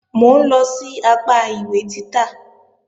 Mò ń lọ sí apá ìwé títà